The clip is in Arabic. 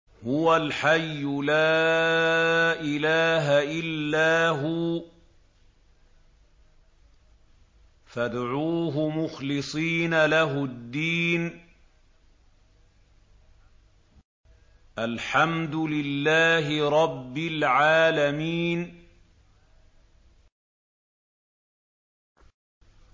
هُوَ الْحَيُّ لَا إِلَٰهَ إِلَّا هُوَ فَادْعُوهُ مُخْلِصِينَ لَهُ الدِّينَ ۗ الْحَمْدُ لِلَّهِ رَبِّ الْعَالَمِينَ